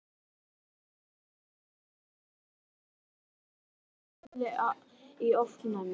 Hann hlakkar mikið til að sjá þig og við bíðum bæði í ofvæni